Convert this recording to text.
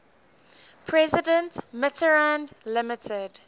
president mitterrand limited